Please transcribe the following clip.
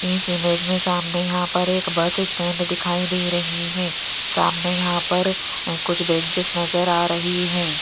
इस इमेज में सामने यहां पर एक बस स्टैंड दिखाई दे रही है सामने यहां पर कुछ बेंचेस नजर आ रही है।